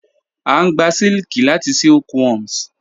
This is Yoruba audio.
A ngbà sílikì látì silkworms.